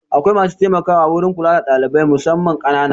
Akwai masu taimakawa wurin kula da ɗalibai musamman ƙanana.